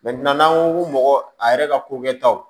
n'an ko ko mɔgɔ a yɛrɛ ka ko kɛtaw